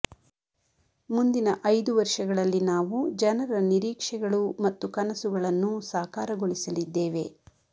ಮುಂದಿನ ಐದು ವರ್ಷಗಳಲ್ಲಿ ನಾವು ಜನರ ನಿರೀಕ್ಷೆಗಳು ಮತ್ತು ಕನಸುಗಳನ್ನು ಸಾಕಾರಗೊಳಿಸಲಿದ್ದೇವೆ